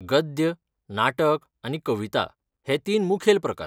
गद्य, नाटक, आनी कविता हे तीन मुखेल प्रकार .